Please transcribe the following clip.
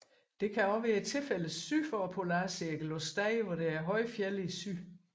Dette kan også være tilfældet syd for polarcirklen på steder hvor der er høje fjelde i syd